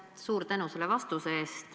Suur tänu selle vastuse eest!